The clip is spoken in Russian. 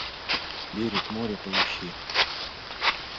берег моря поищи